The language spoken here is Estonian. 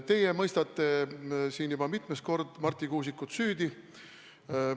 Teie mõistate siin juba mitmes kord Marti Kuusikut süüdi.